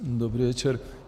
Dobrý večer.